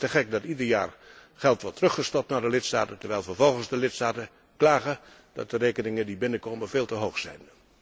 Het is te gek dat ieder jaar geld wordt teruggestort naar de lidstaten, terwijl vervolgens de lidstaten klagen dat de rekeningen die binnenkomen veel te hoog zijn.